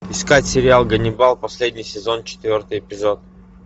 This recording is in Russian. искать сериал ганнибал последний сезон четвертый эпизод